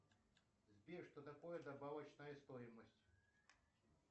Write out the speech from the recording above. сбер что такое добавочная стоимость